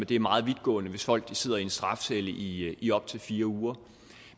det er meget vidtgående hvis folk sidder i en strafcelle i i op til fire uger